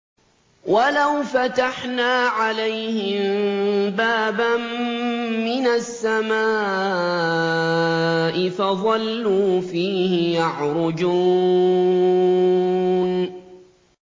وَلَوْ فَتَحْنَا عَلَيْهِم بَابًا مِّنَ السَّمَاءِ فَظَلُّوا فِيهِ يَعْرُجُونَ